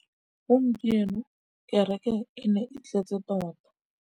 Gompieno kêrêkê e ne e tletse tota.